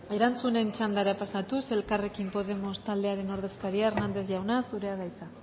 erantzunen txandara pasatuz elkarrekin podemos taldearen ordezkaria hernández jauna zurea da hitza